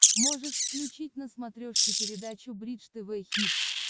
можешь включить на смотрешке передачу бридж тв хитс